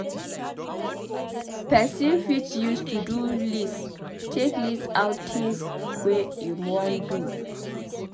Person fit use to-do list take list out things wey im wan do